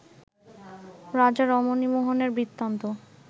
রাজা রমণীমোহনের বৃত্তান্ত